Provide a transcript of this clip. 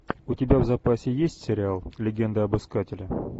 у тебя в запасе есть сериал легенда об искателе